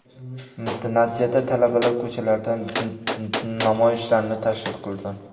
Natijada talabalar ko‘chalarda namoyishlarni tashkil qildi.